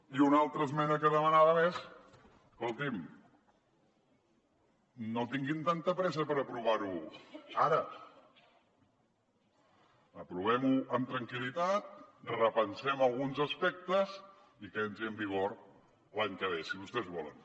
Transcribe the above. i una altra esmena que demanàvem és escolti’m no tinguin tanta pressa per aprovar ho ara aprovem ho amb tranquil·litat repensem alguns aspectes i que entri en vigor l’any que ve si vostès volen